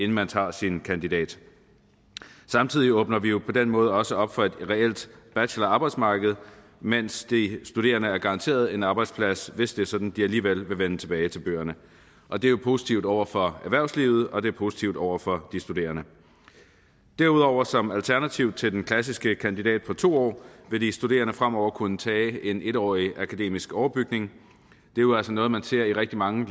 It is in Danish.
man tager sin kandidat samtidig åbner vi jo på den måde også op for et reelt bachelorarbejdsmarked mens de studerende er garanteret en arbejdsplads hvis det er sådan at de alligevel vil vende tilbage til bøgerne og det er jo positivt over for erhvervslivet og det er positivt over for de studerende derudover som alternativ til den klassiske kandidat på to år vil de studerende fremover kunne tage en en årig akademisk overbygning det er jo altså noget man ser i rigtig mange